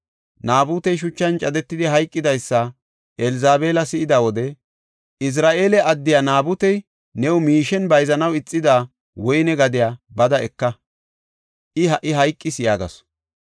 Naabutey shuchan cadetidi hayqidaysa Elzabeela si7ida wode, “Izira7eele addiya Naabutey new miishen bayzanaw ixida woyne gadiya bada eka. I ha77i hayqis” yaagasu.